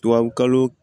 Tubabukalo